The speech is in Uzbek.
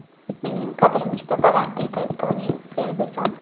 Mening qadrim juda baland”, deydi Toni Fergyuson.